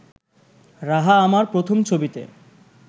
রাহা আমার প্রথম ছবিতে